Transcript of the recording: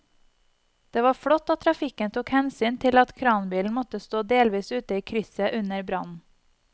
Det var flott at trafikken tok hensyn til at kranbilen måtte stå delvis ute i krysset under brannen.